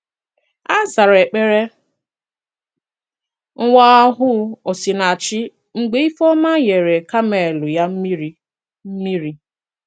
A zàrà èkpere nwa ohù Osinàchì mgbe Ifeoma nyere kaamelụ̀ ya mmìrị̀. mmìrị̀.